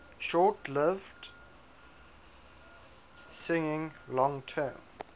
short lived signing long term